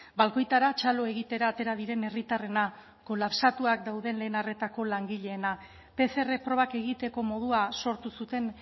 balkoitara txalo egitera atera diren herritarrena kolapsatua dagoen lehen arretako langileena pcr probak egiteko modua sortu zuten